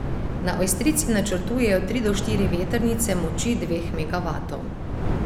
Na Ojstrici načrtujejo tri do štiri vetrnice moči dveh megavatov.